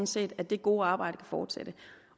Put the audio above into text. set at det gode arbejde kan fortsætte